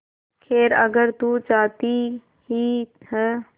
खैर अगर तू चाहती ही है